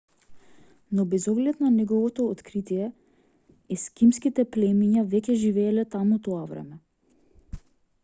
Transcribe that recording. но без оглед на неговото откритие ескимските племиња веќе живееле таму тоа време